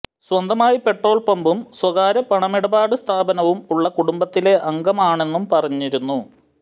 സ്വന്തമായി പെട്രോൾ പമ്പും സ്വകാര്യ പണമിടപാടി സ്ഥാപനവും ഉള്ള കുടുംബത്തിലെ അംഗമാണെന്നും പറഞ്ഞിരുന്നു